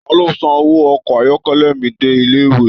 Taló san owó ọkọ ayọkẹlẹ mí dé ilé ìwé.